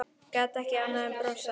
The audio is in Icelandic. Gat ekki annað en brosað.